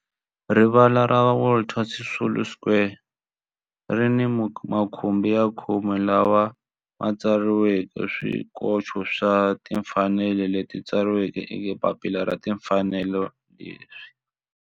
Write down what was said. Rivala ra Walter Sisulu Square ri ni makhumbi ya khume lawa ma tsariweke swikoxo swa timfanelo leswi tsariweke eka papila ra timfanelo leswi